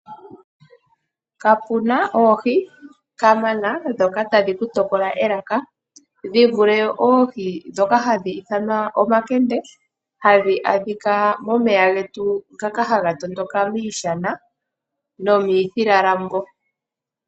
Kapuna oohi kaana ndhoka tadhi ku tokola elaka dhi vule oohi ndhoka hadhi ithanwa omahende hadhi adhika momeya getu ngaka haga tondoka miishana nomithila lambo.